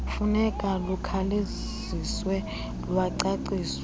funeka lukhawuleziswe lwacaciswa